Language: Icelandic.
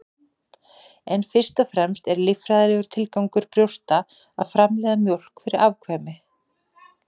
En fyrst og fremst er líffræðilegur tilgangur brjósta að framleiða mjólk fyrir afkvæmi.